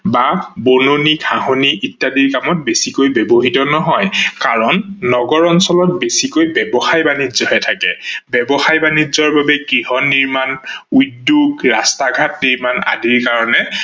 বা বননি, ঘাহনি ইত্যাদি কামত বেছিকৈ ব্যৱহিত নহয় কাৰন নগৰ অঞ্চলত বেছিকৈ ব্যবসায় বানিজ্য হে থাকে, ব্যৱসায় বানিজ্য বাবে গৃহ নিৰ্মান, উদ্যোগ, ৰাস্তা-ঘাট নিৰ্মান আদিৰ কাৰনে